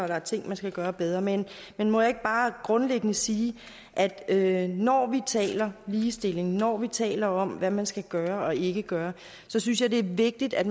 der er ting man skal gøre bedre men men må jeg ikke bare grundlæggende sige at at når vi taler ligestilling at når vi taler om hvad man skal gøre og ikke gøre synes jeg det er vigtigt at